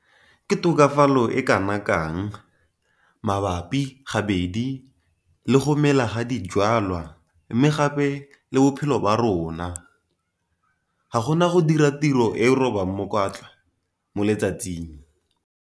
Ke tokafalo e kana kang - mabapi gabedi le go mela ga dijwalwa mme gape le bophelo ba rona. Ga go na go dira tiro e e robang mokwatla mo letsatsing!